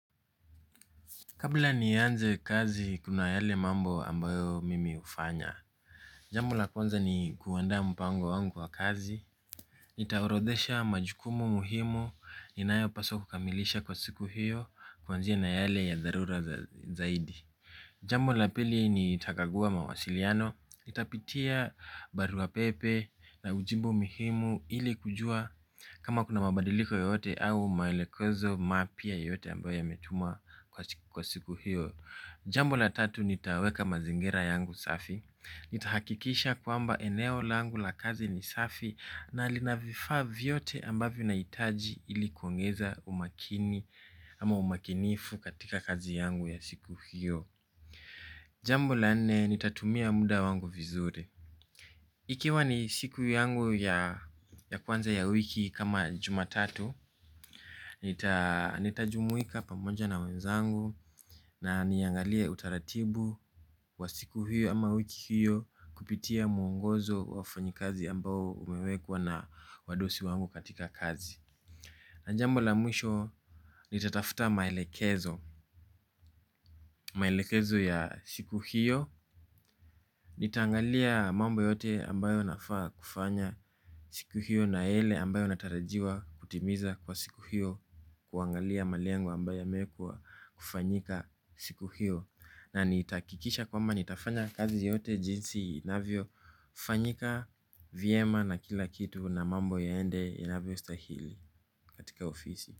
Kabla nianze kazi kuna yale mambo ambayo mimi hufanya. Jambo la kwanza ni kuandaa mpango wangu wa kazi nitaorodesha majukumu muhimu. Ninayo paswa kukamilisha kwa siku hiyo. Kwanzia na yale ya dharura zaidi jambo la pili nitakagua mawasiliano nitapitia barua pepe na ujumbe muhimu ili kujua kama kuna mabadiliko yoyote au maelekezo mapya yoyote ambayo yametumwa kwa siku hio. Jambo la tatu nitaweka mazingira yangu safi. Nitahakikisha kwamba eneo langu la kazi ni safi na lina vifaa vyote ambavyo nahitaji ili kuongeza umakini ama umakinifu katika kazi yangu ya siku hiyo. Jambo la nne nitatumia muda wangu vizuri. Ikiwa ni siku yangu ya kwanza ya wiki kama jumatatu. Nitajumuika pamoja na wenzangu na niangalie utaratibu wa siku hiyo ama wiki hiyo kupitia mwongozo wa wafanyikazi ambao umewekwa na wadosi wangu katika kazi na jambo la mwisho nita tafta maelekezo ya siku hiyo. Nitaangalia mambo yote ambayo nafaa kufanya siku hiyo na yale ambayo natarajiwa kutimiza kwa siku hiyo kuangalia malengo ambayo yamewekwa kufanyika siku hiyo na nitahakikisha kwamba nitafanya kazi yote jinsi inavyo fanyika. Vyema na kila kitu na mambo yaende inavyo stahili katika ofisi.